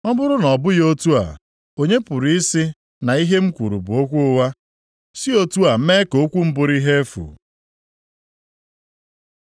“Ọ bụrụ na ọ bụghị otu a, onye pụrụ ị sị na ihe m kwuru bụ okwu ụgha si otu a mee ka okwu m bụrụ ihe efu?”